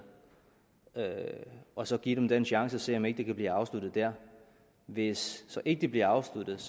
og så give dem den chance og se om ikke det kan blive afsluttet der hvis så ikke bliver afsluttet